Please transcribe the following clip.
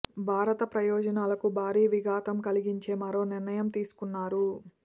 భారత ప్రయోజనాలకు భారీ విఘాతం కలిగించే మరో నిర్ణయం తీసుకున్నారు